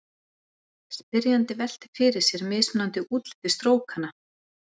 Spyrjandi veltir fyrir sér mismunandi útliti strókanna.